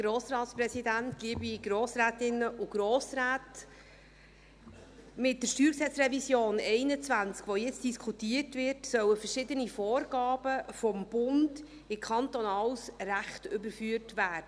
Mit der StG-Revision 2021, die jetzt diskutiert wird, sollen verschiedene Vorgaben des Bundes in kantonales Recht überführt werden.